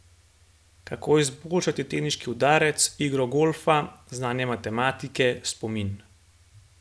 Kako izboljšati teniški udarec, igro golfa, znanje matematike, spomin.